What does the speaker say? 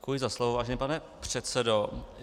Děkuji za slovo, vážený pane předsedo.